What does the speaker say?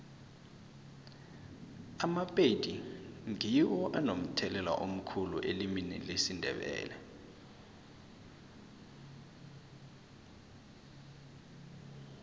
amapedi ngiwo anomthelela omkhulu elimini lesindebele